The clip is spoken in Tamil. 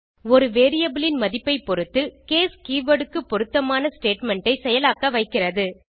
ஒரு வேரியபிள் இன் மதிப்பைப்பொருத்து கேஸ் கீவர்ட் க்கு பொருத்தமான ஸ்டேட்மெண்ட் ஐ செயலாக்க வைக்கிறது